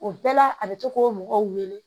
O bɛɛ la a bɛ to k'o mɔgɔw wele